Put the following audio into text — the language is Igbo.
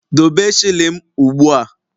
Dobe shilling m ugbua.!